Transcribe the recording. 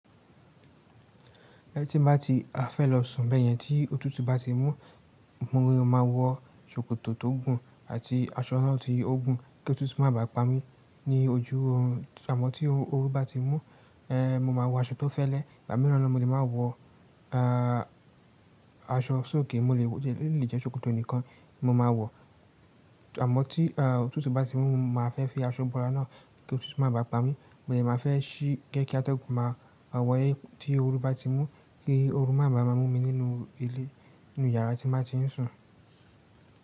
Tín bá ti fẹ́ lọ sùn bẹyẹn tí òtútù bá ti mú, mo máa wọ sòkòtò tó gùn àti aṣọ náà ti ó gùn kí òtútù má bà á pa mí ní ojú orun àmọ́ tí ooru bá ti mú, mo máa wọ aṣọ tó fẹ́lẹ́, ní gba mìíràn mo lè màá wọ, aṣọ sókè ó lè jẹ́ sòkòtò nìkan ni mo máa wọ. Àmọ́ tí òtútù bá ti mú, mà á fẹ́ fi aṣọ bora náà kí òtútù má bà á pa mí, mo dẹ mà á fẹ́ ṣí gẹ́ kí atọ́gún máa wọlé tí ooru bá ti mú, kí ooru máa bà á mú mi nínú ilé, nínú yàrá tí n baa ti ń sùn.